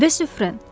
De Sufrən.